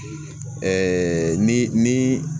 ni ni